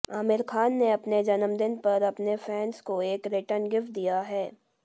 आमिर खान ने अपने जन्मदिन पर अपने फैंस को एक रिटर्न गिफ्ट दिया है